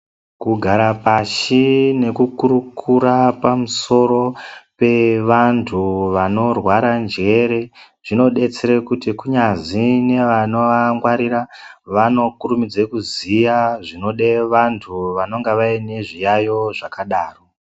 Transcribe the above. Kugara pashi nekukurukura pamusoro pevantu vanorwara njere. Zvinobetsere kuti kunyazi nevanovangwarira vanokurumidze kuziya zvinode vantu vanenge vaine zviyaiyo zvakadaro.